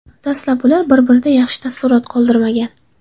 Dastlab ular bir-birida yaxshi taassurot qoldirmagan.